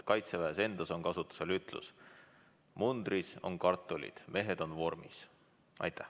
Kaitseväes endas on kasutusel ütlus "Mundris on kartulid, mehed on vormis".